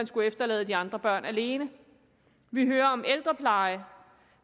skulle efterlade de andre børn alene vi hører om ældrepleje